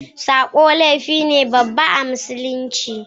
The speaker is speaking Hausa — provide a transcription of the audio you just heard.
sabo laifi ne babba a musulunci